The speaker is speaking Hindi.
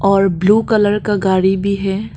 और ब्लू कलर का गाड़ी भी है।